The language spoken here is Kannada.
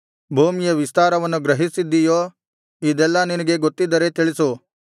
ಭೂಮಿಯ ವಿಸ್ತಾರವನ್ನು ಗ್ರಹಿಸಿದ್ದೀಯೋ ಇದೆಲ್ಲಾ ನಿನಗೆ ಗೊತ್ತಿದ್ದರೆ ತಿಳಿಸು